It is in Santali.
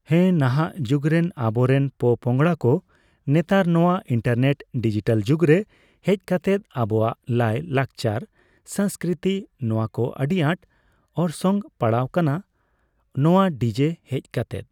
ᱦᱮᱸ ᱱᱟᱦᱟᱜ ᱡᱩᱜᱽ ᱨᱮᱱ ᱟᱵᱚ ᱨᱮᱱ ᱯᱚᱼᱯᱚᱝᱲᱟ ᱠᱚ ᱱᱮᱛᱟᱨ ᱱᱚᱣᱟ ᱤᱱᱴᱟᱨᱱᱮᱴ ᱰᱤᱡᱤᱴᱟᱞ ᱡᱩᱜᱽ ᱨᱮ ᱦᱮᱡ ᱠᱟᱛᱮᱫ ᱟᱵᱚᱣᱟᱜ ᱞᱟᱭ, ᱞᱟᱠᱪᱟᱨ, ᱥᱟᱥᱠᱨᱤᱛᱤ ᱱᱚᱣᱟ ᱠᱚ ᱟᱹᱰᱤ ᱟᱸᱴ ᱚᱨᱥᱚᱝ ᱯᱟᱲᱟᱜ ᱠᱟᱱᱟ ᱱᱚᱣᱟ ᱰᱤ ᱡᱮ ᱦᱮᱡ ᱠᱟᱛᱮᱫ᱾